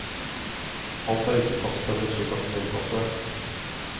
Alt er ikke fasttømret slik at du må innpasse deg.